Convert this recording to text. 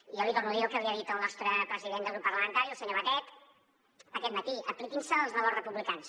jo li torno a dir el que li ha dit el nostre president del grup parlamentari el senyor batet aquest matí apliquin se els valors republicans